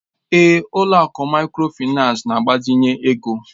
Ee, ụlọ akụ Mikrofaịnsi na-gbazinye ego